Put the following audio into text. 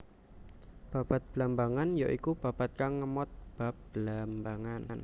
Babad Blambangan ya iku babad kang ngemot bab Blambangan